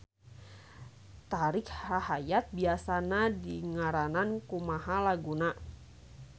Tari rahayat biasana dingaranan kumaha laguna.